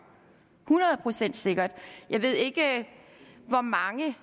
hundrede procent sikkert jeg ved ikke hvor mange af